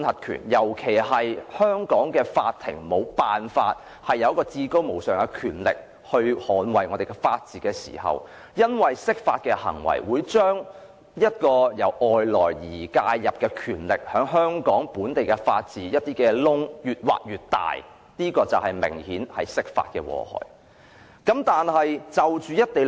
當香港的法庭沒有至高無上的權力捍衞法治，釋法的行為引入外來的權力，把本地法治的漏洞越挖越大，這就是釋法的明顯禍害。